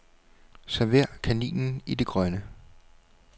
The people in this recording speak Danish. Server kaninen i det grønne.